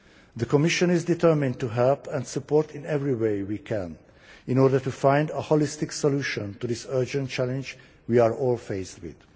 The Commission is determined to help and support in every way we can in order to find a holistic solution to this urgent challenge we are all faced with.